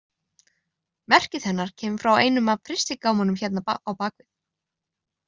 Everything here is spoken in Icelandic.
Merkið hennar kemur frá einum af frystigámunum hérna á bak við.